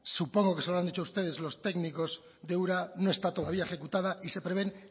supongo que se lo han dicho a ustedes los técnicos de ura no está todavía ejecutada y se prevén